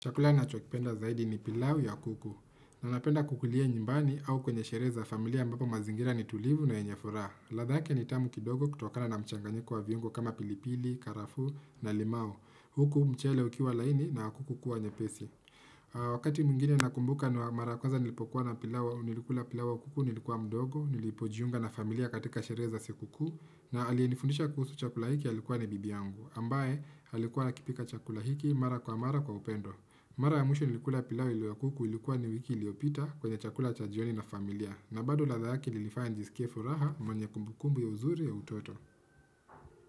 Chakula nachopenda zaidi ni pilau ya kuku. Na napenda kukulia nyumbani au kwenye sherehe za familia ambapo mazingira ni tulivu na yenye furaha. Ladh yake ni tamu kidogo kutokana na mchanganyiko wa viungo kama pilipili, karafuu na limao. Huku mchele ukiwa laini na kuku kuwa nyepesi. Wakati mwingine nakumbuka ni mara kwanza nilipokuwa na pilau, nilikuwa pilau kuku, nilikuwa mdogo, nilipojiunga na familia katika sherehe za sikukuu, na aliyenifundisha kuhusu chakula hiki alikuwa ni bibi yangu. Ambaye alikuwa akipika chakula hiki mara kwa mara kwa upendo. Mara ya mwisho nilikula pilau iliyo kuku, ilikuwa ni wiki iliopita kwenye chakula cha jioni na familia. Na bado ladha yake ilinifanya nijisikie furaha yenye kumbukumbu ya uzuri ya utoto.